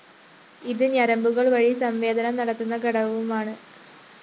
ഇത് ഞരമ്പുകള്‍ വഴി സംവേദനം നടത്തുന്ന ഘടകവുമാണ്